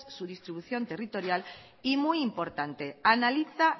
su distribución territorial y muy importante analiza